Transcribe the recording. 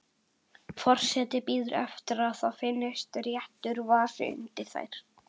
Forseti bíður eftir að það finnist réttur vasi undir þær.